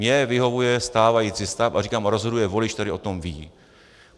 Mně vyhovuje stávající stav a říkám, rozhoduje volič, který o tom ví.